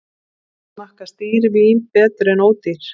Smakkast dýr vín betur en ódýr